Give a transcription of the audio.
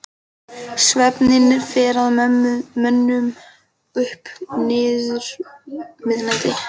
Svefninn fer að mönnum upp úr miðnætti.